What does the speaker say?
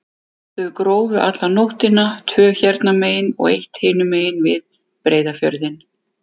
Þau grófu alla nóttina, tvö hérna megin og eitt hinum megin, við Breiðafjörðinn.